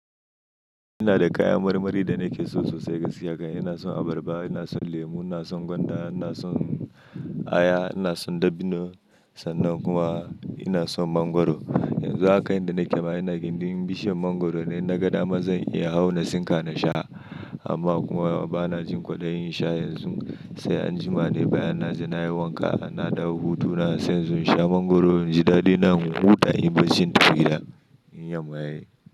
Ina da kayan marmari da nake so sosai gaskiya. Kan ina son abarba, ina son lemu, ina son gwanda, ina son aya, ina son dabbino sannan kuma ina son mangwaro. Yanzu haka inda nake ma ina gindin bishiyar mangwaro dai na ga dama zan iya hau na sinka na sha amma kuma bana jin kwaɗayi in sha yanzu sai anjima. Dai bayyana naje wanka, na da hutu na se inzo sha mangwaro. Ji daɗi na mun huta, inyi barcin gida, in tafi gida in yamma yayi.